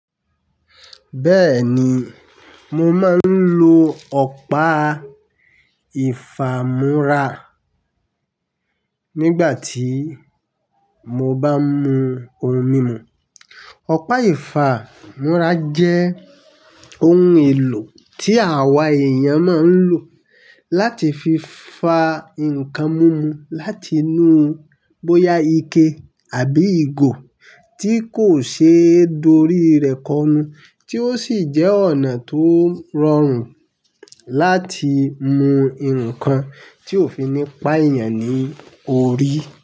Bẹ́ẹ̀ni, mo máa ń lo ọ̀pá ìfàmú́ra nígbà tí mo bá mú ohun mímu. Ọ̀pá ìfàmú́ra jẹ́ ohun èlò tí àwa èèyàn máa ń lò láti fi fa nǹkan múmu láti inú bóyá ike àbí ìgò tí kò ṣe é dori rẹ̀ kọnu, tí ó sì jẹ́ ọ̀nà tó rọrùn láti mú ǹkan tí ò fi ní pa èèyàn ní orí.